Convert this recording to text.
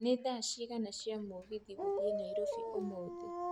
nĩ thaa cigana cia mũgithi gũthiĩ nairobi ũmũthĩ